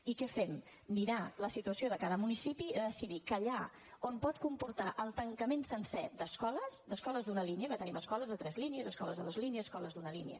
i què fem mirar la situació de cada municipi i decidir que allà on pot comportar el tancament sencer d’escoles d’escoles d’una línia perquè tenim escoles de tres línies escoles de dues línies escoles d’una línia